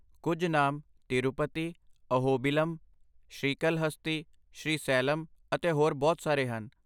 ਕੁੱਝ ਨਾਮ ਤਿਰੂਪਤੀ, ਅਹੋਬਿਲਮ, ਸ਼੍ਰੀਕਲਹਸਤੀ, ਸ਼੍ਰੀਸੈਲਮ ਅਤੇ ਹੋਰ ਬਹੁਤ ਸਾਰੇ ਹਨ